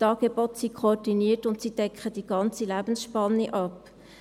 Die Angebote sind koordiniert, und sie decken die ganze Lebensspanne ab.